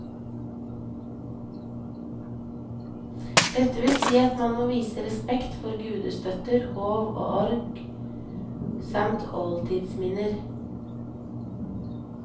Dette vil si at man må vise respekt for gudestøtter, hov og horg, samt oldtidsminner.